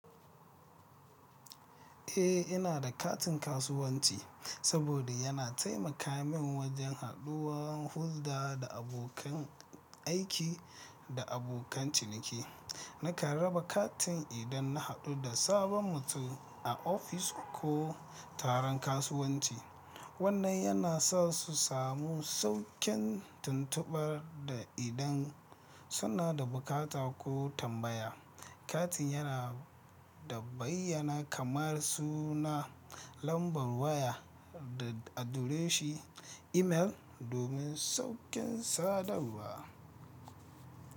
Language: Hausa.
Eh, ina da katin kasuwanci saboda yana taimaka min wajen haduwan hulɗa da abokan aiki da abokan ciniki. Naka raba katin idan na haɗu da sabon mutum a ofis ko taron kasuwanci. Wannan yana sa su samu sauƙin tuntubar da idan suna da bukata ko tambaya. Katin yana da bayyana kamar suna, lambar waya da adireshin imel domin sauƙin sadarwa.